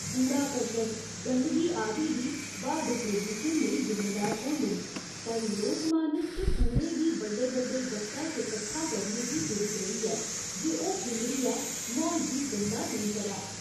कूड़ा करकट, गंदगी आदि बी ब्हा दे प्रदूशण लेई जिम्मेदार होंदे न पर लोकमानस च कूड़े गी बड्डे बड्डे ग'त्तै च कट्ठा करने दी पिरत रेही ऐ जे ओह् खिल्लरियै म्हौल गी गंदा नेईं करै।